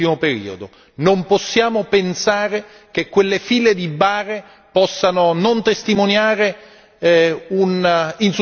Non possiamo pensare che quelle file di bare possano non testimoniare un insuccesso europeo.